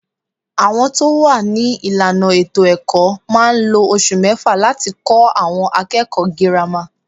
Àwọn tó wà ní ìlànà ètò-ẹ̀kọ́ máa ń lo oṣù mẹ́fà láti kó àwọn akẹ́kọ̀ọ́ girama.